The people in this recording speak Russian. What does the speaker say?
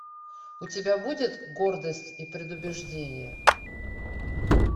у тебя будет гордость и предубеждение